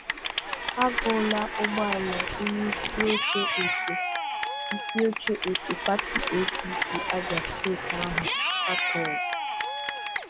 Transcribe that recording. A ghụla ụgbọala onye isioche otu isioche otu pati APC Abia steeti ahụ a tọọrọ